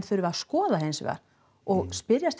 að skoða hins vegar og spyrjast